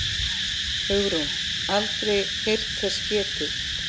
Hugrún: Aldrei heyrt þess getið?